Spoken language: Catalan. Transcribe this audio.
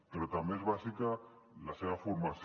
però també és bàsica la seva formació